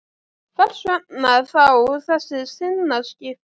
Hvers vegna þá þessi sinnaskipti?